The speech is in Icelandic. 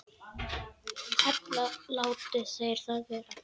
Ella láti þeir það vera.